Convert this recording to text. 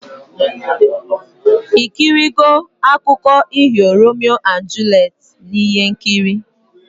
Ikiri go akụko iho Romeo and Juliet na ihe nkiri